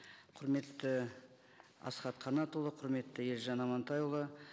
құрметті асхат қанатұлы құрметті елжан амантайұлы